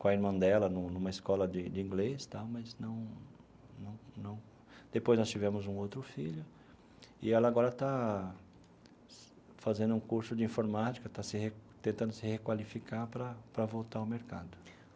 com a irmã dela num numa escola de de inglês tal, mas não não não... Depois nós tivemos um outro filho, e ela agora está fazendo um curso de informática, está se tentando se requalificar para para voltar ao mercado.